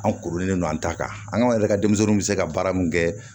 An koronen n don an ta kan an yɛrɛ ka denmisɛnninw bɛ se ka baara min kɛ